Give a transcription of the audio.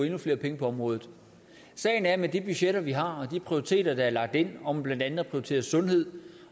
endnu flere penge på området sagen er at med de budgetter vi har og med de prioriteter der er lagt ind om blandt andet at prioritere sundhed